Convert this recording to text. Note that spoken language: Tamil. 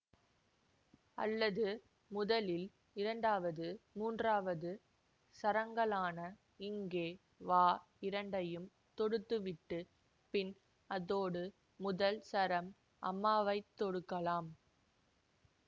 அல்லது முதலில் இரண்டாவது மூன்றாவது சரங்களான இங்கே வா இரண்டையும் தொடுத்துவிட்டுப் பின் அதோடு முதல் சரம் அம்மா வை தொடுக்கலாம்